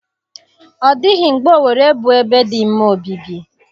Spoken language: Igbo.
Ọ dịghị mgbe Owere bụ ebe dị mma obibi.